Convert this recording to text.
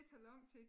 Det tager lang tid